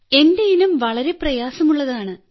എന്റെ ഇനം വളരെ പ്രയാസമുള്ളതാണ്